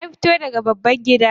Na fito daga babban gida